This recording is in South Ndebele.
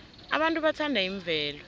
abantu bathanda imvelo